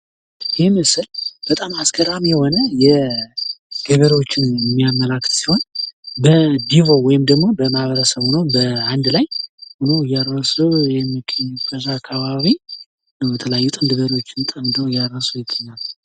ይህ ምስል በጣም አስገራሚ የሆነ የገበሬዎችን የሚያመላክት ሲሆን በዲቦ ወይንም ደሞ በማህበረሰብ ሆነው በአንድ ላይ ሆነው እያረሱ የሚገኝ በዛ አካባቢ የተለያዩ ጥንድ በሬዎችን ጠምደው እያረሱ ይገኛሉ።